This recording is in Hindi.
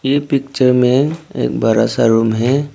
ये पिक्चर में एक बड़ा सा रूम है।